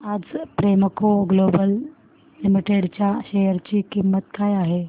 आज Premco Global Limited च्या share ची किंमत काय आहे